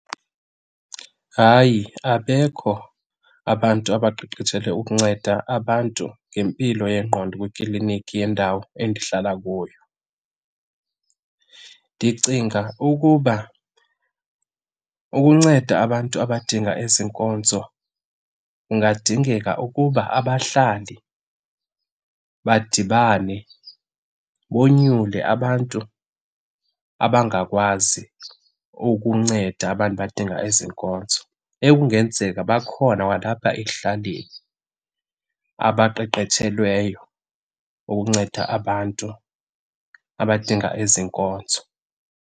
Hayi, abekho abantu abaqeqetshelwe ukunceda abantu ngempilo yengqondo kwikliniki yendawo endihlala kuyo. Ndicinga ukuba ukunceda abantu abadinga ezi nkonzo kungadingeka ukuba abahlali badibane, bonyule abantu abangakwazi ukunceda abantu badinga ezi nkonzo ekungenzeka bakhona kwalapha ekuhlaleni abaqeqetshelweyo ukunceda abantu abadinga ezi nkonzo.